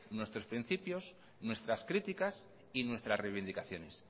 nuestros principios nuestras críticas y nuestras reivindicaciones